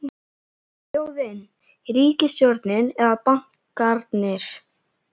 Þjóðin, ríkisstjórnin eða bankarnir?